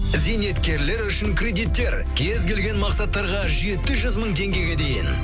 зейнеткерлер үшін кредиттер кез келген мақсаттарға жеті жүз мың теңгеге дейін